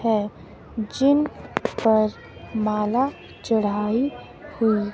है जिन पर माला चढ़ाई हुई--